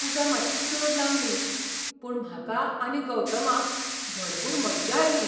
पुजा मात्शी चड लांबली, पूण म्हाका आनी गौतमाक भरपूर मज्जा आयली.